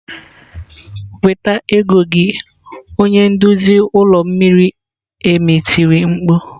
"Weta ego gị" onye nduzi olu miri emi tiri mkpu.